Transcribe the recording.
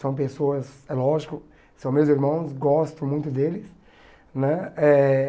São pessoas, é lógico, são meus irmãos, gosto muito deles, né? Eh